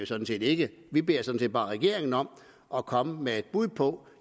sådan set ikke vi beder sådan set bare regeringen om at komme med et bud på